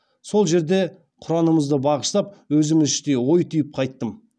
сол жерде құранымызды бағыштап өзім іштей ой түйіп қайттым